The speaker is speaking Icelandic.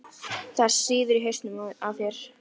Það sýður á hausnum á þér!